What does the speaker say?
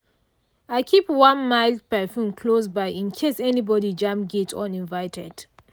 i keep one mild perfume close by in case anybody jam gate uninvited.